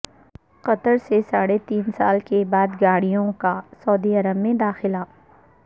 قطر سے ساڑھے تین سال کے بعد گاڑیوں کا سعودی عرب میں داخلہ